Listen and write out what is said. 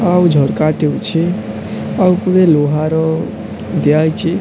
ଆଉ ଝରକା ଟି ଅଛି ଆଉ ଉପରେ ଲୁହାର ଦିଆ ହେଇଛି।